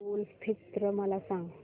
ईद उल फित्र मला सांग